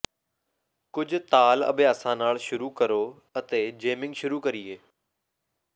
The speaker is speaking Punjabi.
ਕੁਝ ਤਾਲ ਅਭਿਆਸਾਂ ਨਾਲ ਸ਼ੁਰੂ ਕਰੋ ਅਤੇ ਜੇਮਿੰਗ ਸ਼ੁਰੂ ਕਰੀਏ